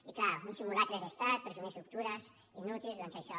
i clar un simulacre d’estat presumir d’estructures inútils doncs això